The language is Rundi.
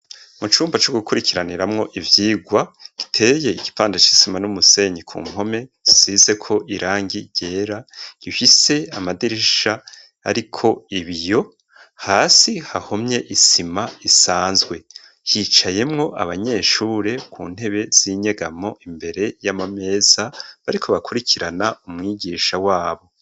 Mu cumba co gukurikiraniramwo ivyigwa iteye igipanda c'isima n'umusenyi ku mpome zisize ko irangi ryera ihise amadirisha ariko ibiyo hasi hahomye isima isanzwe hicayemwo abanyeshure ku ntebe z'inyegamo imbere y'amameza bariko bakurikirana umwigisha wabo.